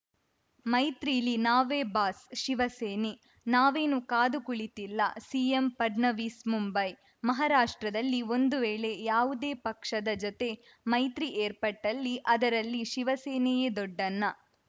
ಮೈತ್ರೀಲಿ ನಾವೇ ಬಾಸ್‌ ಶಿವಸೇನೆ ನಾವೇನು ಕಾದು ಕುಳಿತಿಲ್ಲ ಸಿಎಂ ಫಡ್ನವೀಸ್‌ ಮುಂಬೈ ಮಹಾರಾಷ್ಟ್ರದಲ್ಲಿ ಒಂದು ವೇಳೆ ಯಾವುದೇ ಪಕ್ಷದ ಜೊತೆ ಮೈತ್ರಿ ಏರ್ಪಟ್ಟಲ್ಲಿ ಅದರಲ್ಲಿ ಶಿವಸೇನೆಯೇ ದೊಡ್ಡಣ್ಣ